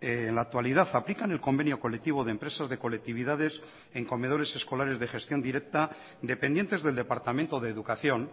en la actualidad aplican el convenio colectivo de empresas de colectividades en comedores escolares de gestión directa dependientes del departamento de educación